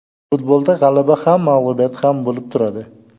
Futbolda g‘alaba ham, mag‘lubiyat ham bo‘lib turadi.